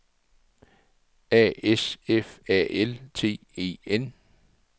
A S F A L T E N